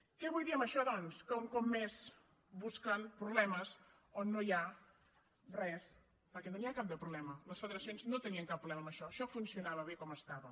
què vull dir amb això doncs que un cop més bus·quen problemes on no hi ha res perquè no n’hi ha cap de problema les federacions no tenien cap problema amb això això funcionava bé com estava